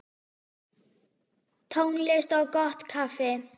Tónlist og gott kaffi.